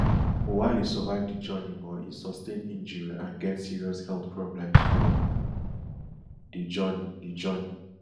oualy survive di journey but e sustain injury and get serious health problems from di journey di journey